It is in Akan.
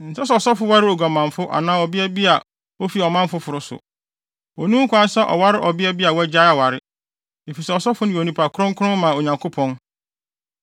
“ ‘Ɛnsɛ sɛ ɔsɔfo ware oguamanfo anaa ɔbea bi a ofi ɔman foforo so. Onni ho kwan sɛ ɔware ɔbea bi a wagyae aware, efisɛ ɔsɔfo yɛ onipa kronkron ma Onyankopɔn.